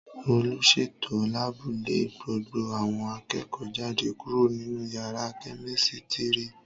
Olùsètò láàbù lé gbogbo àwọn akẹ́kọ̀ọ́ jáde kúrò nínú yàrá kẹ́mísítírì